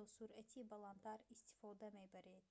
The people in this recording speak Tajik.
ё суръати баландтар истифода мебаред